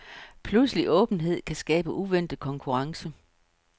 Pludselig åbenhed kan skabe uventet konkurrence.